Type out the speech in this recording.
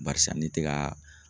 Barisa n'i tɛ ka